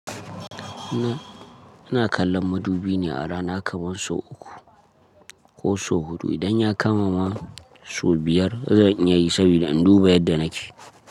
Ni, ina kallon madubi ne a rana kamar sau uku ko sau huɗu. Idan ya kamama sau biyar, zan iyayi saboda in duba yadda nake.